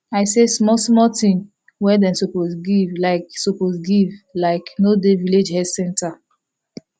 i say small small thing wey dem suppose give like suppose give like no dey village health center